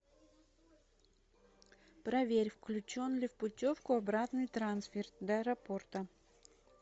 проверь включен ли в путевку обратный трансфер до аэропорта